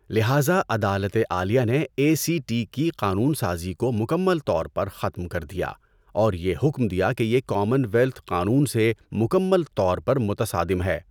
لہٰذا عدالت عالیہ نے اے سی ٹی کی قانون سازی کو مکمل طور پر ختم کر دیا، اور یہ حکم دیا کہ یہ کامن ویلتھ قانون سے مکمل طور پر متصادم ہے۔